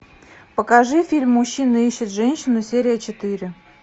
покажи фильм мужчина ищет женщину серия четыре